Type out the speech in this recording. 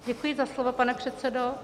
Děkuji za slovo, pane předsedo.